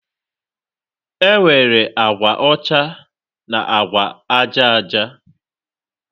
enwere agwa ọcha na agwa aja aja